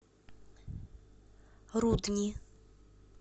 рудни